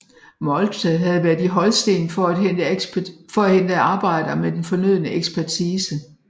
Moltke havde været i Holsten for at hente arbejdere med den fornødne ekspertise